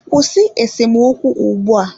Kwụsị esemokwu ugbu a!